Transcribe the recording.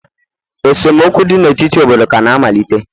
esemokwu dị n'etiti obodo kana-amalite